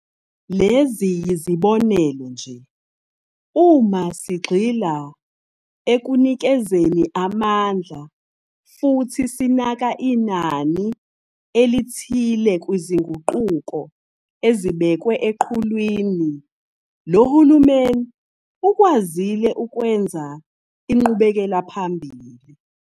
Lezi yizibonelo nje, uma sigxila ekunikezeni amandla futhi sinaka inani elithile kwizinguquko ezibekwe eqhulwini, lo hulumeni ukwazile ukwenza inqubekelaphambili.